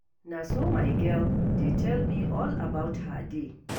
Na so my girl dey tell me all about her day.